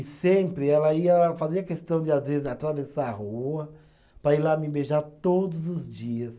E sempre ela ia, fazia questão de, às vezes, atravessar a rua para ir lá me beijar todos os dias.